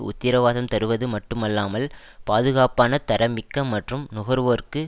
உத்திரவாதம் தருவது மட்டுமல்லாமல் பாதுகாப்பான தரம்மிக்க மற்றும் நுகர்வோருக்கு